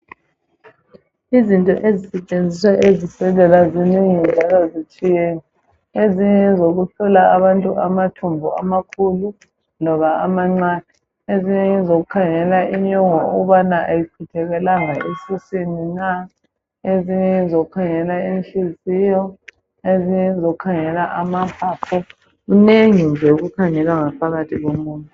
Izinto ezisetshenziswa ezibhedlela zinengi njalo zitshiyene. Ezinye ngezokuhlola abantu amathumbu amakhulu loba amancane ezinye ngezokukhangela inyongo ukubana ayichithekelanga esiswini na, ezinye ngezokukhangela inhliziyo, ezinye ngezokukhangela amaphaphu kunengi nje okukhangelwa ngaphakathi komuntu.